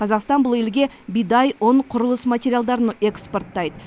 қазақстан бұл елге бидай ұн құрылыс материалдарын экспортайды